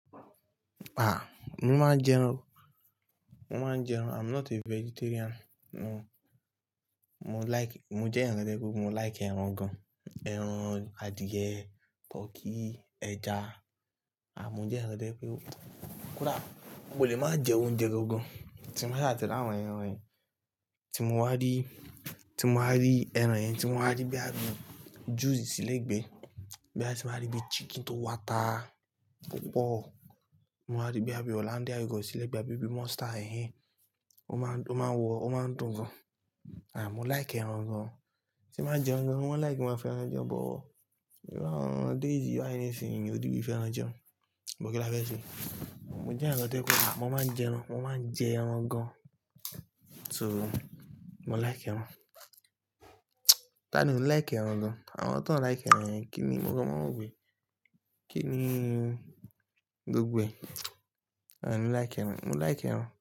Ah, mo máa ń jẹun. Mo máa ń jẹun. I'm not a vegetarian. Mo, mo like, mo jẹ́ ẹyan kan to je wipe, mo like ẹran gan-an. Ẹran adìẹ, turkey, ẹja. Ah, mo jẹ́ ẹyan kan to je wipe. Kódà mo lè máa jẹ oúnjẹ gangan tín bá sa ti ri àwọn ẹran yẹn. Tí mo wá rí, tí mo wá rí ẹran yẹn, tí mo wá rí bí a bi juice sílé gbé, boya tin ba rí bí chicken tó wo àtà púpọ̀. Mo máa rí boya bi Hollandia yogurt sí lé gbé, a bi bí monster èhen, ó máa ń, ó máa ń wọ, ó máa ń dùn gan. Ah, mo like ẹran gan. Tí n ba ń jẹun gaan, mo man like kí n máa fẹ́ràn jẹun, but iru awon days yi bai nisin eyan ò ribì fẹ́ràn jẹun. But kí láfé ṣe? Mo jẹ́ eyan kan tojewipe, mo máa ń jẹran, mo máa ń jẹ ẹran gan. So, mo like ẹran. Tani ò like ẹran gan? Àwọn tón like ẹran yẹn, kí ni nwon o wí? Kí ni gbogbo ẹ̀? Ah, mo like ẹran, mo like ẹran.